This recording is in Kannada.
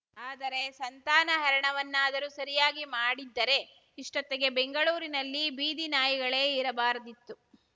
ಆದರೆ ಸಂತಾನಹರಣವನ್ನಾದರೂ ಸರಿಯಾಗಿ ಮಾಡಿದ್ದರೆ ಇಷ್ಟೊತ್ತಿಗೆ ಬೆಂಗಳೂರಿನಲ್ಲಿ ಬೀದಿನಾಯಿಗಳೇ ಇರಬಾರದಿತ್ತು